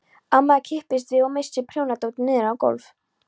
Amma kippist við og missir prjónadótið niður á gólf.